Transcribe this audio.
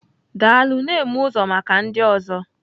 Daalụ, na-eme ụzọ maka ndị ọzọ.